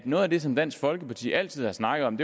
noget af det som dansk folkeparti altid har snakket om